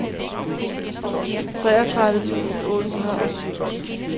treogtredive tusind otte hundrede og syv